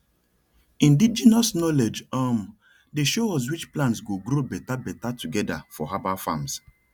indigenous knowledge um dey show us which plants go grow better better together for herbal farms